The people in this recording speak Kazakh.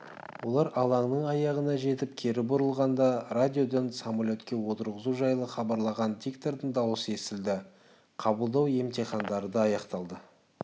олар алаңның аяғына жетіп кері бұрылғанда радиодан самолетке отырғызу жайлы хабарлаған диктордың даусы естілді қабылдау емтихандары аяқталды